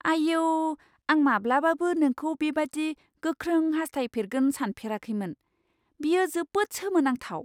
आइऔ! आं माब्लाबाबो नोंखौ बेबादि गोख्रों हासथायफेरगोन सानफेराखैमोन । बेयो जोबोद सोमोनांथाव।